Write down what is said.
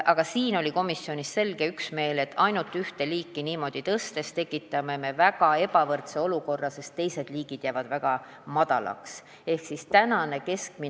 Aga selles oli komisjonis selge üksmeel, et niimoodi, ainult ühte liiki toetust tõstes me tekitame väga ebavõrdse olukorra, sest teiste toetuseliikide summad jäävad ikka väga väikeseks.